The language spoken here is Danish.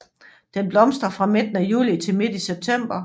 Den blomstrer fra midten af juli til midt i september